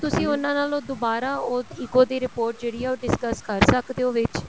ਤੁਸੀਂ ਉਹਨਾ ਨਾਲ ਦੁਬਾਰਾ ਉਹ ECO ਦੀ report ਜਿਹੜੀ ਏ ਉਹ discuss ਕਰ ਸਕਦੇ ਓ ਵਿੱਚ